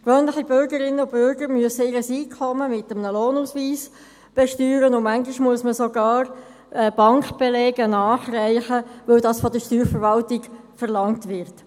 Gewöhnliche Bürgerinnen und Bürger müssen ihr Einkommen mit einem Lohnausweis versteuern, und manchmal muss man sogar Bankbelege nachreichen, weil dies von der Steuerverwaltung verlangt wird.